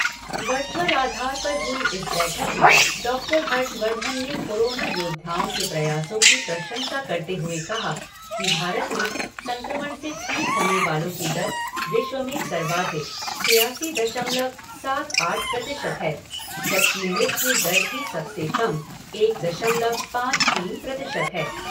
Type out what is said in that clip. Virtual आधार पर हुई इस बैठक में डॉक्टर हर्षवर्धन ने कोरोना योद्धाओं के प्रयासों की प्रशंसा करते हुए कहा कि भारत में संक्रमण से ठीक होने वालों की दर विश्व में सर्वाधिक, छियासी दशमलव सात आठ प्रतिशत है, जबकि मृत्यु दर भी सबसे कम, एक दशमलव पाँच तीन प्रतिशत है।